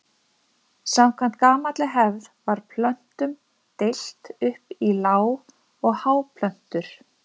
Samkvæmt gamalli hefð var plöntum deilt upp í lág- og háplöntur.